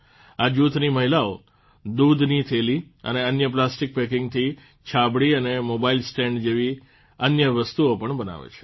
આ જૂથની મહિલાઓ દૂધની થેલી અને અન્ય પ્લાસ્ટિક પેકિંગથી છાબડી અને મોબાઇલ સ્ટેન્ડ જેવી અન્ય વસ્તુઓ પણ બનાવે છે